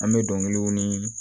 An bɛ dɔnkiliw ni